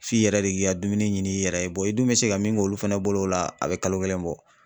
F'i yɛrɛ de k'i ka dumuni ɲini i yɛrɛ ye bɔn i dun be se ka min k'olu fana bolo o la a be kalo kelen bɔ